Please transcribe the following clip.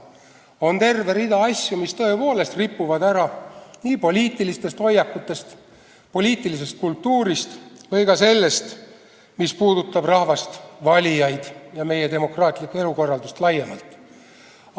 On terve rida asju, mis tõepoolest ripuvad ära poliitilistest hoiakutest, poliitilisest kultuurist või ka sellest, mis puudutab rahvast, valijaid ja meie demokraatlikku elukorraldust laiemalt.